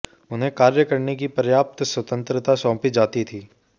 उन्हें कार्य करने की पर्याप्त स्वतंत्रता सौंपी जाती थी